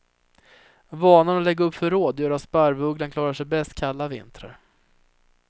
Vanan att lägga upp förråd gör att sparvugglan klarar sig bäst kalla vintrar.